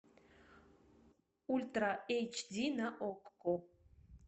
ультра эйч ди на окко